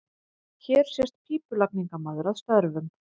Hér sést pípulagningamaður að störfum.